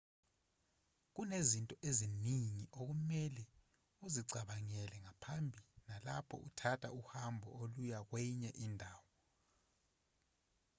kunezinto eziningi okumelwe uzicabangele ngaphambi nalapho uthatha uhambo oluya kwenye indawo